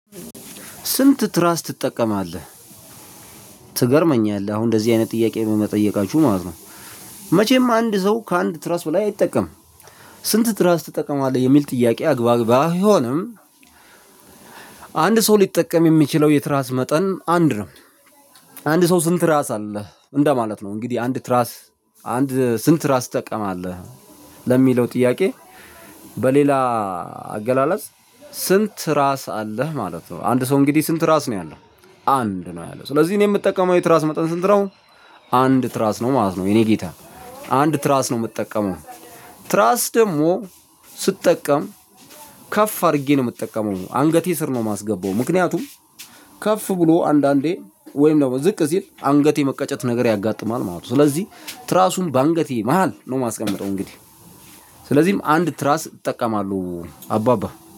ስንት? ትራስ ትጠቀማለህ ትገርመኛለህ አሁን እንደዚህ አይነት ጥያቄ በመጠየቃችሁ ማለት ነው። መቼም አንድ ሰው ከአንድ ትረስ በላይ አይጠቀምም። ስንት ትራስ ትጠቀማለህ የሚል ጥያቄ አግባብ ባይሆንም። አንድ ሰው ሊጠቀም የሚችለው የትራስ መጠን አንድ ነው። አንድ ሰው ስንት ትራስ አለህ እንደማለት ነው እንግዲህ አንድ ትራስ አንድ ስንት ትራስ ትጠቀማለህ ለሚለው ጥያቄ? በሌላ አገላለጽ ስንት ራስ አለህ ማለት ነው። አንድ ሰው እንግዲህ ስንት ራስ ነው ያለው። አንድ ነው ያለው ስለዚህ እኔ የምጠቀመው የትራስ መጠን ስንት ነው። አንድ ትራስ ነው ማለት ነው። የኔ ጌታ አንድ ትራስ ነው የምጠቀመው። ትራስ ደግሞ ስጠቀም ከፍ አድርጌ ነው የምትጠቀመው አንገቴ ስር ነው የማስገባው። ምክንያቱም ከፍ ብሎ አንዳንዴ ወይም ደግሞ ዝቅ ሲል አንገቴ መቀጨት ነገር ያጋጥማል ማለት ነው። ስለዚህ ትራሱን በአንገቴ መሃል ነው የማስቀምጠው። እንግዲህ ስለዚህም አንድ ትራስ እጠቀማለሁ አባባ